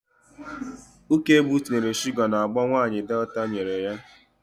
Ukegbu tinyere shuga n'agbo nwaanyị Delta nyere ya.